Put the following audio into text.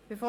angenommen.